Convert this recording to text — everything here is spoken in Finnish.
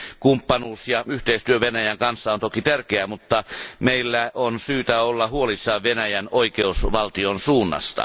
Kumppanuus ja yhteistyö Venäjän kanssa on toki tärkeää, mutta meillä on syytä olla huolissaan Venäjän oikeusvaltion suunnasta.